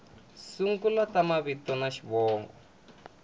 sungula ta mavito na xivongo